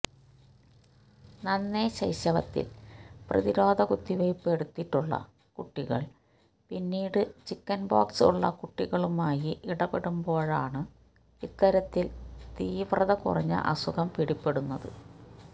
നന്നേ ശൈശവത്തിൽ പ്രധിരോധകുത്തിവെപ്പ് എടുത്തിട്ടുള്ള കുട്ടികൾ പിന്നീട് ചിക്കൻപോക്സ് ഉള്ള കുട്ടികളുമായി ഇടപെടുമ്പോഴാണു ഇത്തരത്തിൽ തീവ്രത കുറഞ്ഞ അസുഖം പിടിപ്പെടുന്നത്